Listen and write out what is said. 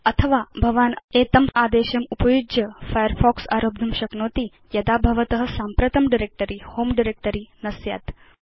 अथवा भवान् अधस्तन आदेशम् उपयुज्य फायरफॉक्स आरब्धुं शक्नोति यदा भवत साम्प्रतं डायरेक्ट्री होमे डायरेक्ट्री न स्यात्